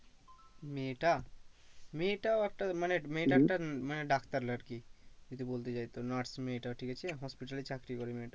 মেয়েটা মেয়েটাও একটা মানে মেয়েটা একটা মানে ডাক্তার আর কি যদি বলতে যাই তো নার্স মেয়েটা ঠিক আছে hospital এ চাকরি করে মেয়েটা।